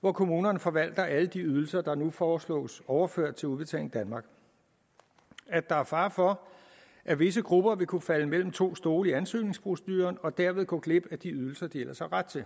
hvor kommunerne forvalter alle de ydelser der nu foreslås overført til udbetaling danmark der er fare for at visse grupper vil kunne falde mellem to stole i ansøgningsproceduren og derved gå glip af de ydelser de ellers har ret til